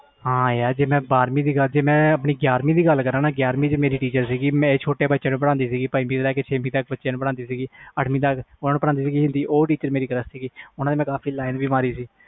ਹਾਂ ਯਾਰ ਜੇ ਮੈਂ ਲੱਗ ਕਰਾ ਗਿਆਰਵੀ ਦੀ ਤੇ ਇਕ teacher ਸੀ ਜੋ ਪਹਿਲੀ ਤੋਂ ਲੈ ਕੇ ਅੱਠਵੀ ਤਕ ਬੱਚਿਆਂ ਨੂੰ ਪੜ੍ਹਦੀ ਸੀ ਉਹ ਮੇਰਾ crush ਸੀ ਤੇ ਮੈਂ ਉਸ ਤੇ ਲਾਈਨ ਮਾਰੀ ਸੀ